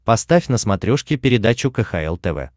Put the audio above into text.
поставь на смотрешке передачу кхл тв